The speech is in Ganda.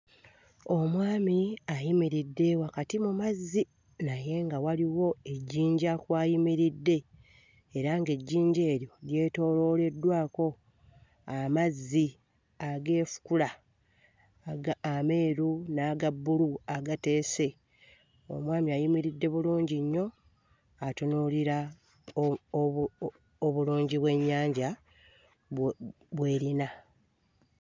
Omwami ayimiridde wakati mu mazzi naye nga waliwo ejjinja kw'ayimiridde era ng'ejjinja eryo lyetoolooleddwako amazzi ageefukula aga ameeru n'aga bbulu agateese, omwami ayimiridde bulungi nnyo atunuulira oo obu o obulungi bw'ennyanja bwe bw'erina.